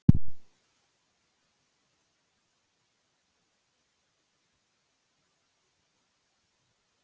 Engu að síður er hægt að greina nokkuð skýra stefnu í vali nefndarinnar á verðlaunahöfum.